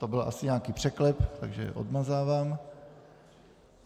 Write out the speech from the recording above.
To byl asi nějaký překlep, takže odmazávám.